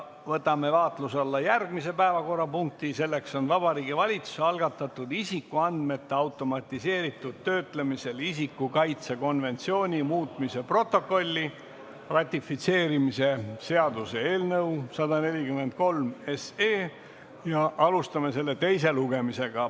Võtame vaatluse alla järgmise päevakorrapunkti, see on Vabariigi Valitsuse algatatud isikuandmete automatiseeritud töötlemisel isiku kaitse konventsiooni muutmise protokolli ratifitseerimise seaduse eelnõu 143, alustame selle teise lugemisega.